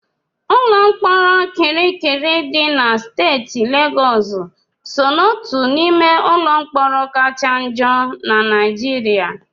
Ụlọ mkpọrọ Kirikiri dị na steeti Legọọsụ so n'otu n'ime ụlọ mkpọrọ kacha njọ na Naịjirịa.